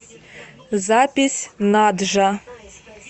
запись наджа